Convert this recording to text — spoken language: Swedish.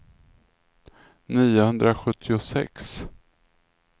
niohundrasjuttiosex